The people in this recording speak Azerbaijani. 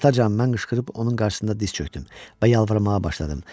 Atacan, mən qışqırıb onun qarşısında diz çökdüm və yalvarmağa başladım.